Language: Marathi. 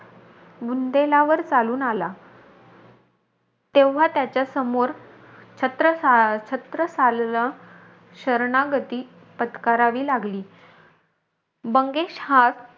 बुंदेलावर चालून आला. तेव्हा त्याच्या समोर छत्रसा छत्रसालला शरणागती पत्करावी लागली. बंगेश हा,